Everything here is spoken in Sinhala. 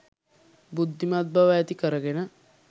බුද්ධිමත් බව ඇති කරගෙන